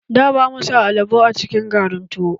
Da, ba mu sa alubo a cikin garin tuwo.